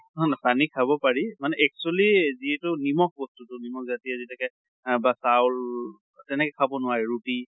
হয় হয়, পানী খাব পাৰি মানে actually যিটো নমখ বস্তুটো নমখ জাতিয় যেনেকে বা চাউল তেনেকে খাব নোৱাৰি, ৰুতি